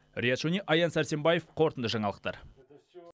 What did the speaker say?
риат шони аян сәрсенбаев қорытынды жаңалықтар